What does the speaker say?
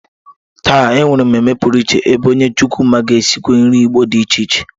Taa, e nwere mmemme pụrụiche ebe onye chukwuma ga-esikwa nri Igbo dị iche iche